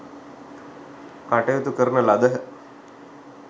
කටයුතු කරන ලදහ.